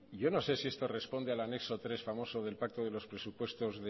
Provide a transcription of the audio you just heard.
yo no sé si esto responde al anexo tres famoso del pacto de los presupuestos